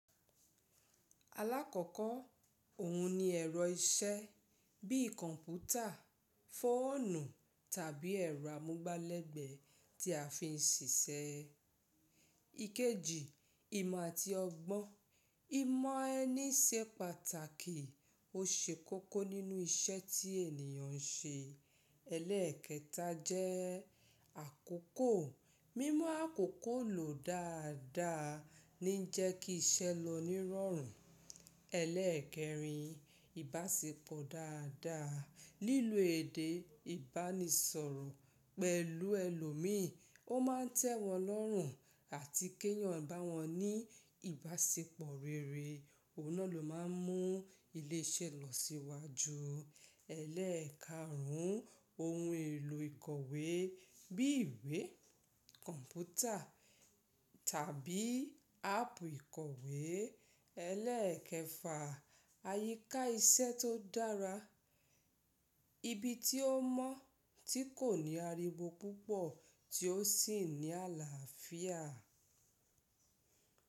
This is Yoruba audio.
Alákọ̀kọ́, òhun ni ẹ̀rọ iṣẹ́ bí i kọ̀mpútà, fóònù tàbí ẹ̀rọ amúgbálẹ́gbẹ̀ẹ́ tí a fi ń siṣẹ́. Ikeji, ìmọ̀ àti ọgbọ́n. Ìmọ̀ ẹni ṣe pàtàkì, ó ṣe kókó nínú iṣẹ́ tí ènìyàn ń ṣe. Ẹlẹ́ẹ̀kẹta jẹ́ àkókò. Mímọ̀ àkókò lò dáadáa ni ń jẹ́ kí iṣẹ́ lọ ní rọrùn. Ẹlẹ́ẹ̀kẹrin, ìbáṣepọ̀ dáadáa. Lílo èdè ìbánisọ̀rọ̀ pẹ̀lú ẹlòmíì, ó má ń tẹ́ wọn lọ́rùn àti kí èèyàn bá wọn ní ìbáṣepọ̀ rere, òun náà ló má ń mú ilé iṣẹ́ lọ síwájú. Ẹlẹ́ẹ̀karùn ún, ohun èlò ìkọ̀wé bí ìwé, kọ̀mpútà tàbí áàpù ìkọ̀wé. Ẹlẹ́ẹ̀kẹfà, àyíká iṣẹ́ tó dára. Ibi tí ó mọ́ tí kò ní ariwo púpọ̀ tí ó sì ní àlàáfíà.